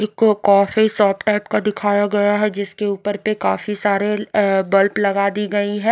एक coffee shop type का दिखाया गया है जिसके ऊपर पे काफी सारे अ बल्ब लगा दी गई है।